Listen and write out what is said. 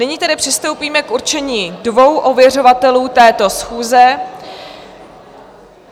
Nyní tedy přistoupíme k určení dvou ověřovatelů této schůze.